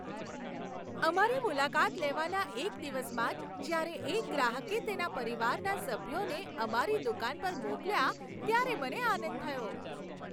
અમારી મુલાકાત લેવાના એક દિવસમાં જ જ્યારે એક ગ્રાહકે તેના પરિવારના સભ્યોને અમારી દુકાન પર મોકલ્યા ત્યારે મને આનંદ થયો.